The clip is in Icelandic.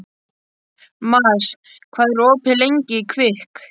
Mars, hvað er opið lengi í Kvikk?